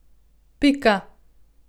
Pika.